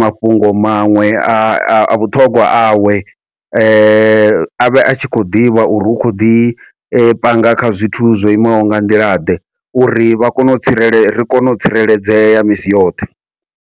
mafhungo maṅwe a vhuṱhongwa awe, avhe a tshi khou ḓivha uri hu kho ḓi panga kha zwithu zwo imaho nga nḓila ḓe, uri vha kone u tsireledza ri kone u tsireledzea misi yoṱhe.